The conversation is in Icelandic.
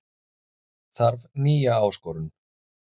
Þarf nýja áskorun